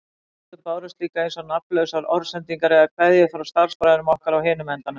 Stundum bárust líka eins og nafnlausar orðsendingar eða kveðjur frá starfsbræðrum okkar á hinum endanum.